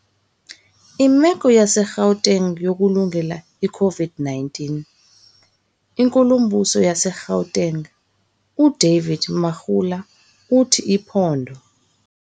Imeko yase-Gauteng yokulungela i-COVID-19. INkulumbuso yase-Gauteng uDavid Makhura uthi iphondo.